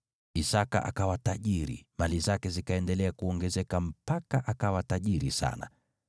Isaki akawa tajiri, mali zake zikaendelea kuongezeka mpaka akawa tajiri sana.